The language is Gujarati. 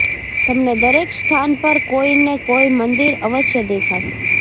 તમને દરેક સ્થાન પર કોઈ ને કોઈ મંદિર અવશ્ય દેખાશે